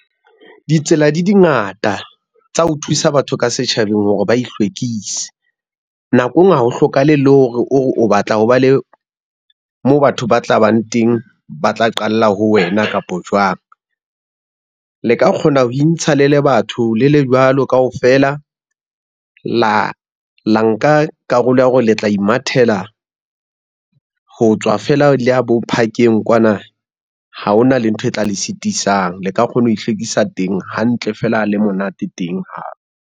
Ditsela di di ngata tsa ho thusa batho ka setjhabeng hore ba ihlwekise, nako e ngwe ha ho hlokahale, le hore o batla ho ba le, moo batho ba tla bang teng ba tla qalla ho wena kapo jwang. Le ka kgona ho intsha le le batho le le jwalo kaofela, la nka karolo ya hore le tla imathela, ho tswa fela le ya bo phakeng kwana, ha hona le ntho e tla le sitisang, le ka kgona ho ihlwekisa teng hantle fela le monate teng hape.